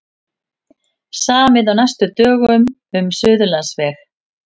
Samið á næstu dögum um Suðurlandsveg